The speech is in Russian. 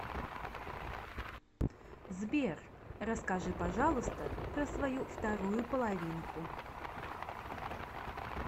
сбер расскажи пожалуйста про свою вторую половинку